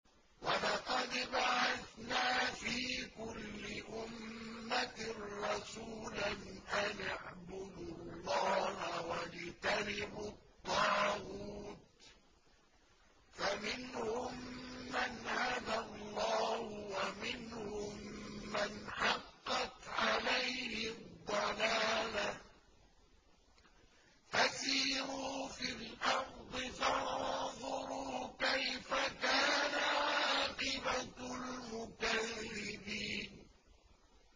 وَلَقَدْ بَعَثْنَا فِي كُلِّ أُمَّةٍ رَّسُولًا أَنِ اعْبُدُوا اللَّهَ وَاجْتَنِبُوا الطَّاغُوتَ ۖ فَمِنْهُم مَّنْ هَدَى اللَّهُ وَمِنْهُم مَّنْ حَقَّتْ عَلَيْهِ الضَّلَالَةُ ۚ فَسِيرُوا فِي الْأَرْضِ فَانظُرُوا كَيْفَ كَانَ عَاقِبَةُ الْمُكَذِّبِينَ